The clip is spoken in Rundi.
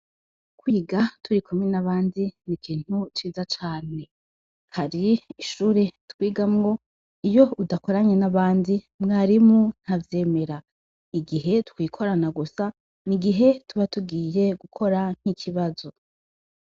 Kwiga turikumwe n'abandi ni ikintu ciza cane. Hari ishuri twigamwo, iyo udakoranye n'abandi mwarimu ntavyemera. Igihe twikorana gusa, ni igihe tuba tugiye gukora nk'ikibazo.